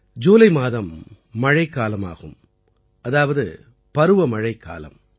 ஜூலை மாதம் மழைக்காலம் ஆகும் அதாவது பருவமழைக்காலம்